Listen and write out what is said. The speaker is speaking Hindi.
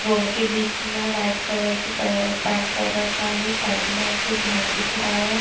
रोड के बीच में वाइट कलर की रखा है साइड में एक घर दिख रहा है।